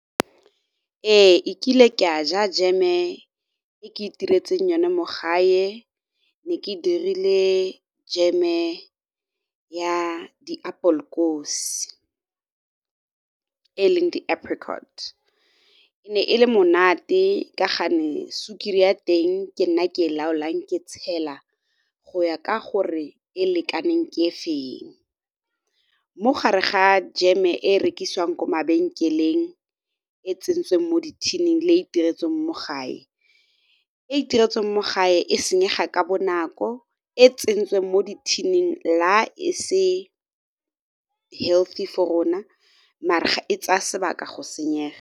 Ee, e kile ke a ja jam e e ke itiretseng yone mo gae, ne ke dirile jam e ya di appelkoos e leng di-apricot, e ne e le monate ka ga ne sukiri ya teng ke nna ke e laolang ke tshela go ya ka gore e lekaneng ke e feng. Mo gare ga jam e e rekisiwang ko mabenkeleng e tsentsweng mo di-tin-ing le e e itiretsweng mo gae, e e itiretsweng mo gae e senyega ka bonako e tsentsweng mo di-tin-ing la e se healthy for rona mare ga e tsaya sebaka go senyega.